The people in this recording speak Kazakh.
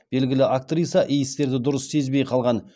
белгілі актриса иістерді дұрыс сезбей қалған